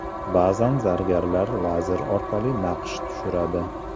Ba’zan zargarlar lazer orqali naqsh tushiradi.